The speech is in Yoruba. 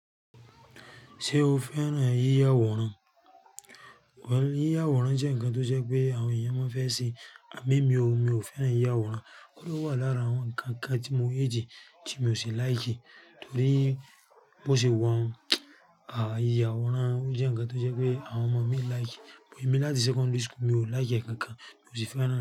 Ṣé o fẹ́ràn yíya àwòrán? Yíya àwòrán jẹ́ ǹkan tó ṣe pé àwọn ènìyàn máa fẹ́ ṣe à mo mi ò, mi ò fẹ́ràn yíya àwòrán. Òun wà lára àwọn ǹkan kan tí mo rí tí mi ò ṣe like, torí bó ṣe wà, à yíya àwòrán jẹ́ ǹkan tó ṣe pé àwọn ọmọ mi like. Ìbò mi láti secondary school mi ò like ẹ̀ kankan, mi ò sì fẹ́ràn náà.